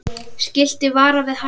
Skilti varar við hættum.